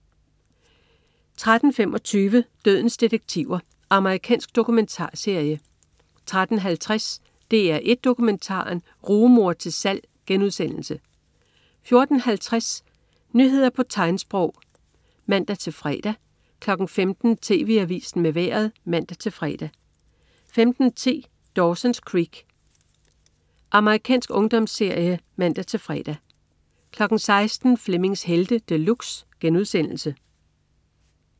13.25 Dødens detektiver. Amerikansk dokumentarserie 13.50 DR1 Dokumentaren. Rugemor til salg* 14.50 Nyheder på tegnsprog (man-fre) 15.00 TV Avisen med Vejret (man-fre) 15.10 Dawson's Creek. Amerikansk ungdomsserie (man-fre) 16.00 Flemmings Helte De Luxe*